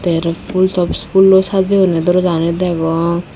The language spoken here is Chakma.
te araw phul tops phulloi sajeyonne dorjagani degong.